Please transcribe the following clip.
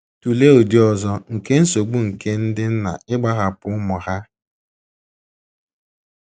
Tụlee ụdị ọzọ nke nsogbu nke ndị nna ịgbahapụ ụmụ ha.